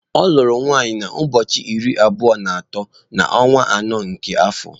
Ọ lụrụ nwaanyị na ụbọọchi iri abụọ na atọ na onwa anọ nke afọ.